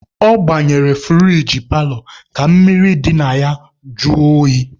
Ọ gbanyere furigi paalọ ka mmiri dị n'ime ya jụọ oyi.